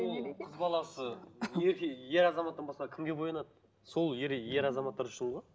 ол қыз баласы ер азаматтан басқа кімге боянады сол ер азаматтар үшін ғой